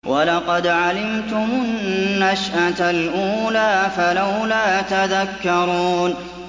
وَلَقَدْ عَلِمْتُمُ النَّشْأَةَ الْأُولَىٰ فَلَوْلَا تَذَكَّرُونَ